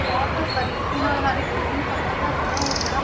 ਬਹੁਤ ਬਰੀਕੀ ਨਾਲ ਹਰ ਇੱਕ ਚੀਜ਼ ਨੂੰ ਸਮਝਦਾ ਸੀ ਨਾ ਉਹ ਬੜਾ,